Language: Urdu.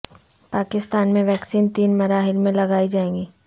پاکستان میں ویکسین تین مراحل میں لگائی جائے گی